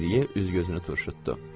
Deqriyə üz-gözünü turşutdu.